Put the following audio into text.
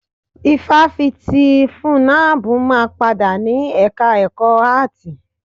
Ifáfitì ti FUNNAB máa padà ni ẹka ẹ̀kọ́ áàtì.